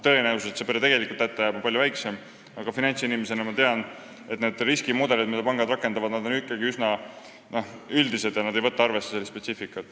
Tõenäosus, et see pere tegelikult hätta jääb, on palju väiksem, aga finantsinimesena ma tean, et need riskimudelid, mida pangad rakendavad, on ikkagi üsna üldised ja ei võta arvesse spetsiifikat.